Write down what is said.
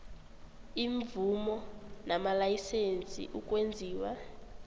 iimvumo namalayisense ukwenziwa